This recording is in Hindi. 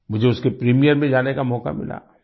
मुझे उसके प्रीमियर पर जाने का मौका मिला